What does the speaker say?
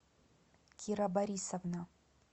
кира борисовна